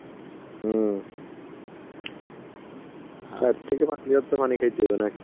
হম. পানি খাইতে হবে নাকি.